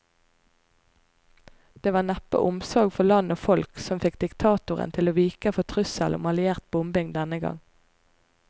Det var neppe omsorg for land og folk som fikk diktatoren til å vike for trusselen om alliert bombing denne gang.